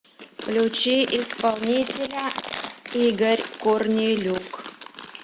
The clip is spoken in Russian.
включи исполнителя игорь корнелюк